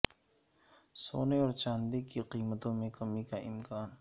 سونے اور چاندی کی قیمتوں میں کمی کا امکان